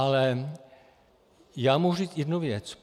Ale já mohu říci jednu věc.